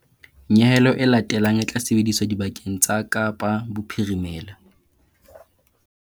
Nyehelo e latelang e tla sebediswa dibakeng tsa Kapa Bophirimela.